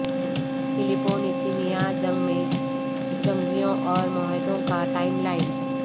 پیلوپونیسینیا جنگ میں جنگلیوں اور معاہدوں کا ٹائم لائن